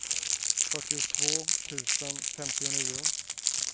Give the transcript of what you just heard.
fyrtiotvå tusen femtionio